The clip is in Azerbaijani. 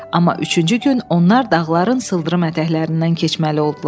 Amma üçüncü gün onlar dağların sıldırım ətəklərindən keçməli oldular.